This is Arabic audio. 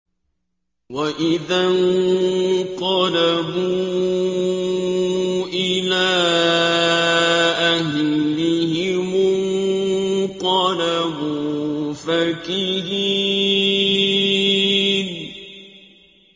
وَإِذَا انقَلَبُوا إِلَىٰ أَهْلِهِمُ انقَلَبُوا فَكِهِينَ